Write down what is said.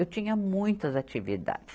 Eu tinha muitas atividades.